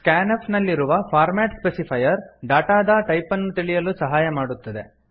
scanf ನಲ್ಲಿರುವ format specifier ಡಾಟಾದ type ಅನ್ನು ತಿಳಿಯಲು ಸಹಾಯ ಮಾಡುತ್ತದೆ